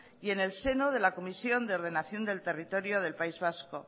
y en el seno de la comisión de ordenación del territorio del país vasco